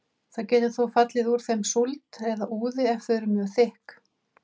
Það getur þó fallið úr þeim súld eða úði ef þau eru mjög þykk.